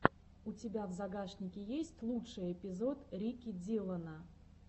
у тебя в загашнике есть лучший эпизод рики диллона